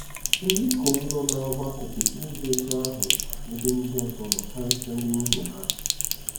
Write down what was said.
Ndị ikom nọ n'ọgbakọ kwesịrị ịdị otú ahụ n'ebe ndị ọzọ nọ, karịsịa ndị nwunye ha.